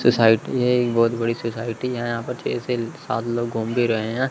Society है एक बहोत बड़ी सोसाइटी है यहां पे छह से सात लोग घूम भी रहे हैं।